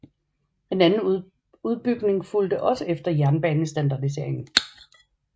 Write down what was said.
En anden udbygning fulgte også efter jernbanestandardiseringen